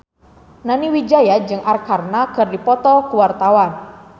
Nani Wijaya jeung Arkarna keur dipoto ku wartawan